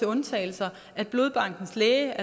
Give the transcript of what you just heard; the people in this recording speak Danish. undtagelser blodbankens læge